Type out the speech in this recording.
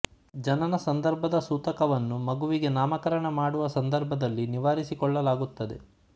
ಜನನ ಸಂದರ್ಭದ ಸೂತಕವನ್ನು ಮಗುವಿಗೆ ನಾಮಕರಣ ಮಾಡುವ ಸಂದರ್ಭದಲ್ಲಿ ನಿವಾರಿಸಿಕೊಳ್ಳಲಾಗುತ್ತದೆ